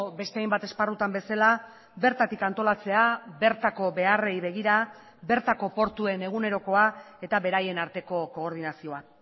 beste hainbat esparrutan bezala bertatik antolatzea bertako beharrei begira bertako portuen egunerokoa eta beraien arteko koordinazioa